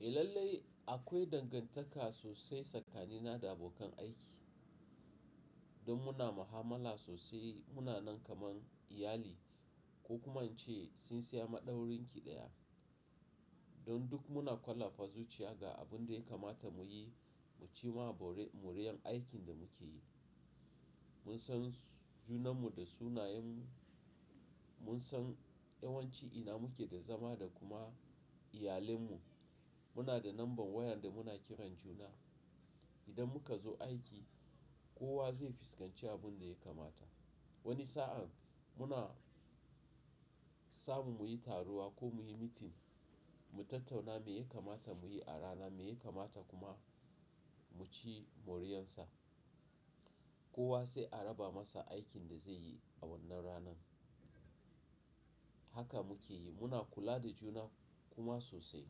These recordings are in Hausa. Eh lallai akwai dangantaka sosai tsakanina da abokan aiki, don muna mahamala sosai muna nan kaman iyali ko kuma ce sinsiya maɗaurinki ɗaya. Don duk muna ƙwalafa zuciya ga abin da ya kamata mu yi, mu ci ma borin moriyan aikin da muke yi. Mun san junanmu da sunayen mu, mun san yawon ci'ina muke da zama da kuma iyalen mu. Muna da lambar wayar da muna kiran juna. Idan muka zo aiki, kowa zai fuskanci abin da ya kamata. Wani sa'an muna samu muyi taruwa ko muyi mitin, mu tattauna me ya kamata mu yi a rana, me ya kamata kuma mu ci moriyansa. Kowa sai a raba masa aikin da zai yi a wannan ranan. Haka muke yi, muna kula da juna kuma sosai.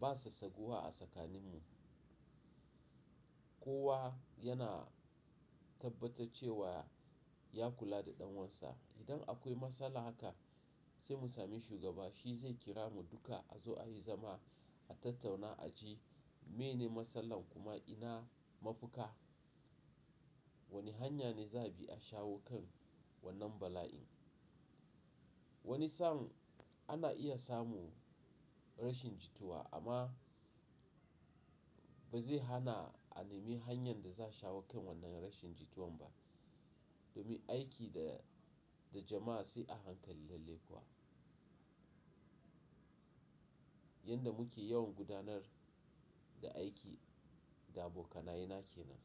Ba sa saguwa a tsakaninmu. Kowa yana tabbatar cewa ya kula da ɗanwansa. Idan akwai matsala haka sai mu same shugaba shi zai kira mu duka a zo ayi zama, a tattauna a ji mene matsalar kuma ina mafita, wani hanya ne za bi a shawo kan wannan bala'in. Wani sa'an ana iya samu rashin jituwa amma ba zai hana a nemi hanyan da za shawo kan wannan rashin jituwan ba. Domin aiki da jama'a sai a hankali lalle kuwa. Yanda muke yawan gudanar da aiki da abokanayena kenan.